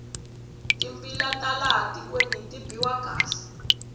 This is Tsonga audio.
timbila ta laha tikweni ti biwa kahle